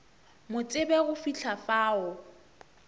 mo tsebe go fihla fao